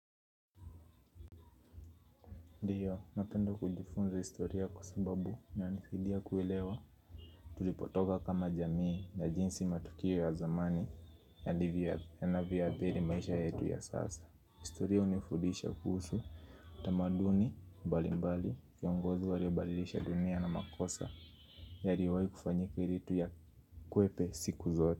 Ndiyo, napenda kujifunza historia kwa sababu inanisaidia kuelewa tulipotoka kama jamii na jinsi matukio ya zamani yanavyoadhiri maisha yetu ya sasa. Historia hunifudisha kuhusu tamaduni mbali mbali viongozi waliobalisha dunia na makosa yaliyoweza kufanyika ili tuyakwepe siku zote.